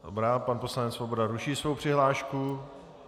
Dobrá, pan poslanec Svoboda ruší svou přihlášku.